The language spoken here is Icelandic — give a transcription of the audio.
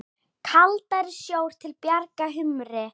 Kaldari sjór til bjargar humri?